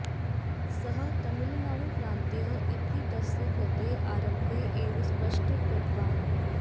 सः तमिळुनाडुप्रन्तीयः इति तस्य कृतेः आरम्भे एव स्पष्टं कृतवान्